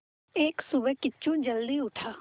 एक सुबह किच्चू जल्दी उठा